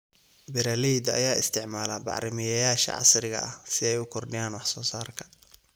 Beeralayda ayaa isticmaala bacrimiyeyaasha casriga ah si ay u kordhiyaan wax soo saarka.